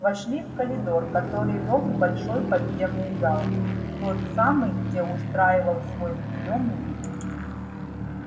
вошли в коридор который вёл в большой подземный зал в тот самый где устраивал свой приём ник